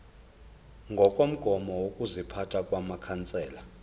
ngokomgomo wokuziphatha wamakhansela